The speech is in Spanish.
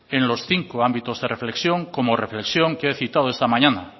en los cinco ámbitos de reflexión como reflexión que he citado esta mañana